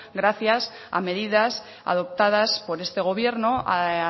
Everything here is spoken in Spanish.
gracias a medidas adoptadas por este gobierno a